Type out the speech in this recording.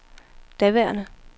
daværende